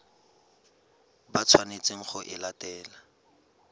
ba tshwanetseng go e latela